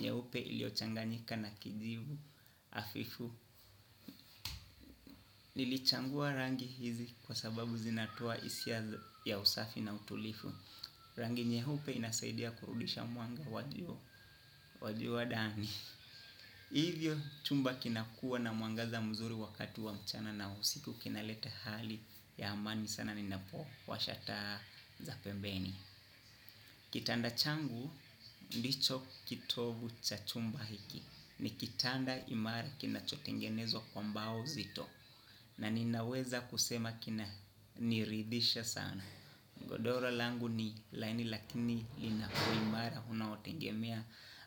nyeupe iliochanganyika na kijivu hafifu. Nilichangua rangi hizi kwa sababu zinatoa hisia ya usafi na utulivu. Rangi nyeupe inasaidia kurudisha mwanga wa jua ndani. Hivyo chumba kinakua na mwangaza mzuri wakati wa mchana na usiku kinaleta hali ya amani sana ninapo washa taa za pembeni. Kitanda changu ndicho kitovu cha chumba hiki. Ni kitanda imara kina chotengenezwa kwa mbao zito. Na ninaweza kusema kina niridhisha sana. Godoro langu ni laini lakini linako imara. Unaotengemia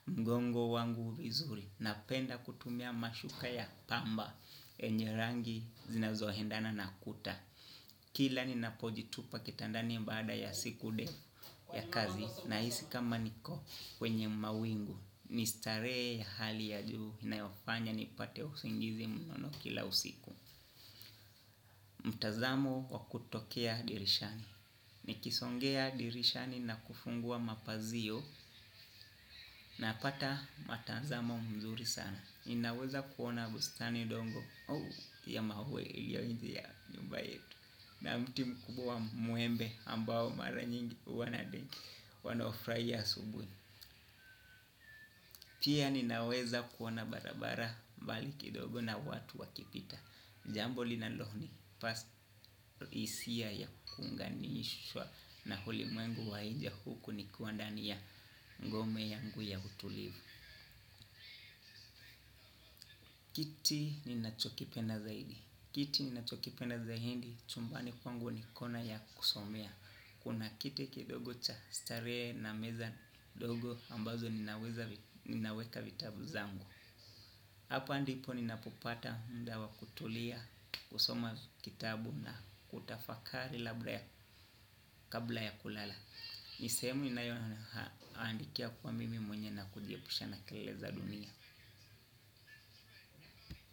mgongo wangu vizuri. Napenda kutumia mashuka ya pamba enye rangi zinazohendana nakuta. Kila ninapojitupa kitandani baada ya siku ndefu ya kazi. Nahisi kama niko kwenye mawingu ni starehe ya hali ya juu inayofanya nipate usingizi mnono kila usiku mtazamo wa kutokea dirishani nikisongea dirishani na kufungua mapazia napata mtazamo mzuri sana ninaweza kuona bustani. Pia ninaweza kuona barabara mbali kidogo na watu wakipita. Jambo linalonipa hisia ya kuunganishwa na ulimwengu wa nje huku nikiwa ndani ya ngome yangu ya utulivu kiti ninachokipenda zaidi. Kiti ninachokipena zaidi chumbani kwangu niko na ya kusomea. Kuna kiti kidogo cha starehe na meza ndogo ambazo ninaweka vitabu zangu. Hapa ndipo ninapopata muda wa kutulia kusoma kitabu na kutafakari kabla ya kulala. Ni sehemu inayona haandikia kwa mimi mwenye na kujiepusha na keleleza dunia.